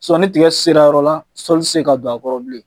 ni tiga sera yɔrɔ la, sɔli ti se ka don a kɔrɔ bilen.